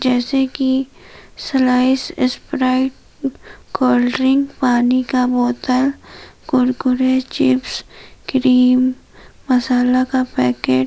जैसे की Slice Sprite cold drink पानी का बोतल कुरकुरे चिप्स क्रीम मसाला का पैकेट --